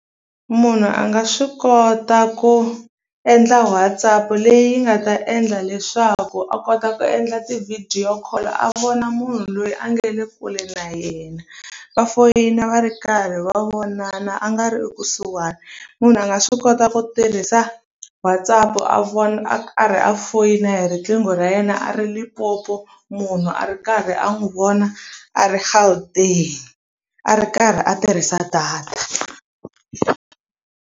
Munhu a nga swi kota ku endla WhatsApp leyi nga ta endla leswaku a kota ku endla ti-video call a vona munhu loyi a nga le kule na yena va foyina va ri karhi va vonana a nga ri ekusuhani munhu a nga swi kota ku tirhisa WhatsApp a vona a ka ri a foyina hi riqingho ra yena a ri Limpopo munhu a ri karhi a n'wi vona a ri Gauteng a ri karhi a tirhisa data.